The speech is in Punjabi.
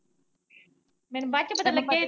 ਮੈਨੂੰ ਬਾਚ ਪਤਾ ਲੱਗਿਆ ਈ।